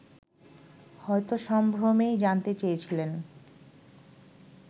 হয়তো সম্ভ্রমেই জানতে চেয়েছিলেন